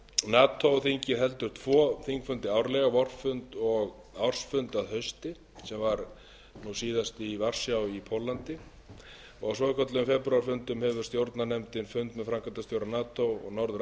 nato þingið heldur tvo þingfundi árlega vorfund og ársfund að hausti sem var nú síðast í varsjá í póllandi á svokölluðum febrúarfundum hefur stjórnarnefndin fund með framkvæmdastjóra nato og norður